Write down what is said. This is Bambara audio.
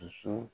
Muso